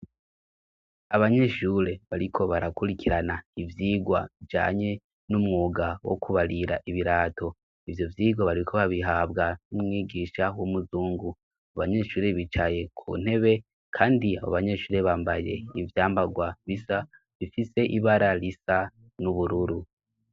Abanyeshure bariko barakurikirana ivyigwa bijanye n'umwuga wo kubarira ibirato, ivyo vyigwa bariko babihabwa n'umwigisha w'umuzungu, abanyeshure bicaye ku ntebe kandi abo banyeshure bambaye ivyambagwa bisa, bifise ibara risa n'ubururu.